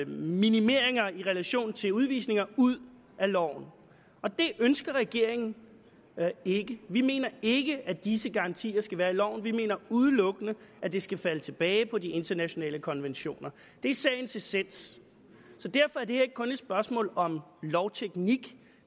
minimeringer i relation til udvisninger ud af loven og det ønsker regeringen ikke vi mener ikke at disse garantier skal være i loven vi mener udelukkende at det skal falde tilbage på de internationale konventioner det er sagens essens så derfor er det her ikke kun et spørgsmål om lovteknik